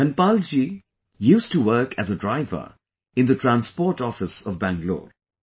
Dhanapal ji used to work as a driver in the Transport Office of Bangalore